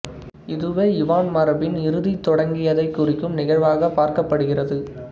இதுவே யுவான் மரபின் இறுதி தொடங்கியதைக் குறிக்கும் நிகழ்வாகப் பார்க்கப்படுகிறது